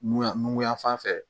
Nuyan nukunya fan fɛ